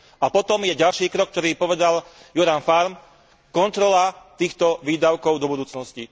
A potom je ďalší krok, ktorý povedal Göran Färm, kontrola týchto výdavkov do budúcnosti.